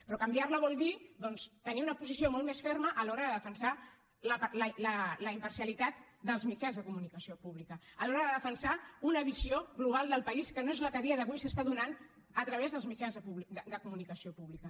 però canviar la vol dir doncs tenir una posició molt més ferma a l’hora de defensar la imparcialitat dels mitjans de comunicació públics a l’hora de defensar una visió global del país que no és la que a dia d’avui s’està donant a través dels mitjans de comunicació públics